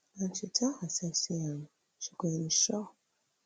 and she tell herself say um she go ensure